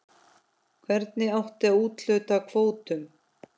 Hvernig átti að úthluta kvótum?